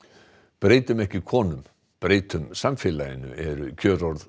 breytum ekki konum breytum samfélaginu eru kjörorð